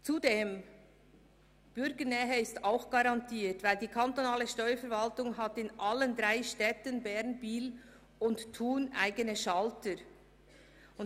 Zudem ist die Bürgernähe auch nachher garantiert, weil die kantonale Steuerverwaltung in allen drei Städten Bern, Biel und Thun eigene Schalter hat.